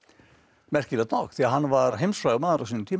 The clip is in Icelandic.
merkilegt nokk því hann var heimsfrægur maður á sínum tíma